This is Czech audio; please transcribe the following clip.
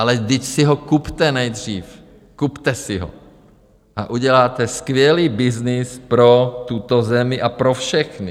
Ale vždyť si ho kupte nejdřív, kupte si ho a uděláte skvělý byznys pro tuto zemi a pro všechny.